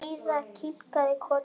Heiða kinkaði kolli.